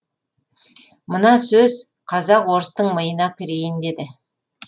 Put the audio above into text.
мына сөз қазақ орыстың миына кірейін деді